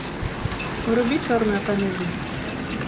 вруби черную комедию